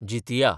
Jitiya